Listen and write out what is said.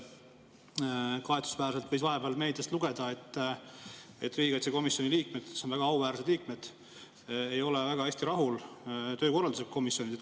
Kahetsusväärselt võis vahepeal meediast lugeda, et riigikaitsekomisjoni liikmed, kes on väga auväärsed liikmed, ei ole väga hästi rahul komisjoni töökorraldusega.